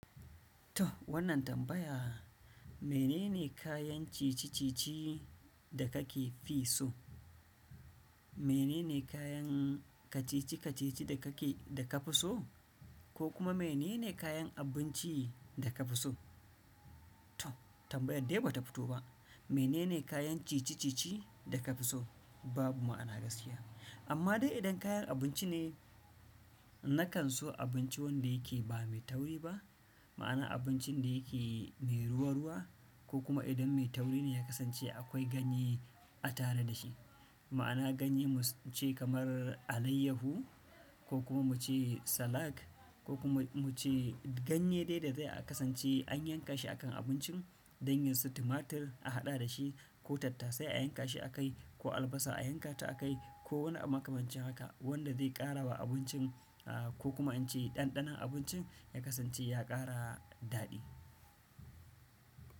To wannan tambaya, menene kayan cici-cici da kake fi so? Menene kayan kacici-kacici da ka fi so, ko kuma menene kayan abinci da ka fi so? To tambayar dai ba ta fito ba. Menene kayan cici-cici da ka fi so? Babu ma'ana gaskiya. Amma dai idan kayan abinci ne, na kan so abinci wanda yake ba mai tauri ba, ma'ana abincin da yake mai ruwa-ruwa, ko kuma idan mai tauri ne ya kasance akwai ganye a tare da shi. Ma'ana ganye mu ce kamar alaiyahu ko kuma mu ce salak ko kuma mu ce ganye dai da zai a kasance an yanka shi akan abincin, dangin su tumatir a haɗa da shi ko tattasai a yanka shi a kai ko albasa a yankata a kai ko wani abu makamancin haka wanda zai ƙara wa abincin a ko kuma in ce ɗanɗanon abincin ya kasance ya ƙara daɗi.